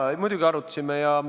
Jaa, muidugi arutasime.